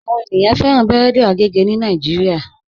Àwọn ènìyàn fẹran bẹ̀rẹ̀dì àgègè ni Nàìjíríà.